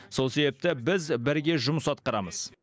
сол себепті біз бірге жұмыс атқарамыз